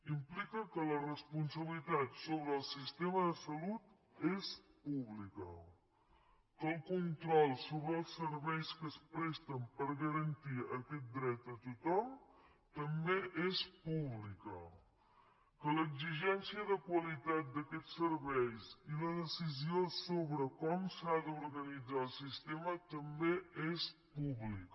implica que la responsabilitat sobre el sistema de salut és pública que el control sobre els serveis que es presten per garantir aquest dret a tothom també és públic que l’exigència de qualitat d’aquest servei i la decisió sobre com s’ha d’utilitzar el sistema també és pública